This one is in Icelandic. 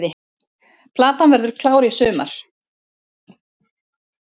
Platan verður klár í sumar